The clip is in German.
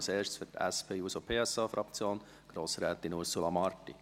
Zuerst, für die SP-JUSO-PSA-Fraktion, Grossrätin Ursula Marti.